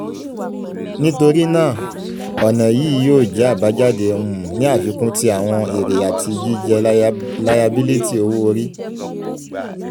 nitorinaa ọna yii yoo jẹ abajade um ni afikun ti awọn ere ati jijẹ layabiliti owo-ori